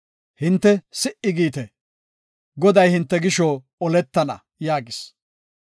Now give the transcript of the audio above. Hinte si77i giite; Goday hinte gisho oletana” yaagis.